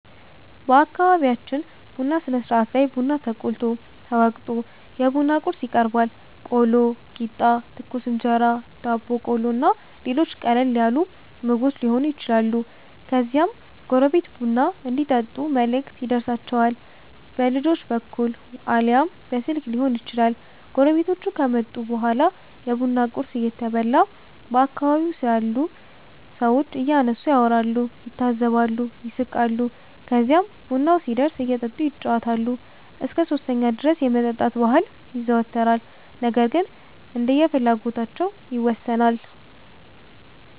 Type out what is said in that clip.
በአከቢቢያችን ቡና ስነስርአት ላይ ቡና ተቆልቶ፣ ተወቅቶ፣ የቡና ቁርስ ይቀርባል(ቆሎ፣ ቂጣ፣ ትኩስ እንጀራ፣ ዳቦ ቆሎ እና ሌሎችም ቀለል ያሉ ምግቦች የሆኑ ይችላሉ) ከዚያም ጎረቤት ቡና እንዲጠጡ መልእክት ይደርሣቸዋል። በልጆች በኩል አልያም በስልክ ሊሆን ይችላል። ጎረቤቶቹ ከመጡ በኋላ የቡና ቁርስ እየተበላ በአከባቢው ስላሉ ሠዎች እያነሱ ያወራሉ፣ ይታዘባሉ፣ ይስቃሉ። ከዚህም ቡናው ሲደርስ እየጠጡ ይጫወታሉ። እስከ 3ኛው ድረስ የመጠጣት ባህል ይዘወተራል ነገር ግን እንደየፍላጎታቸው ይወሠናል።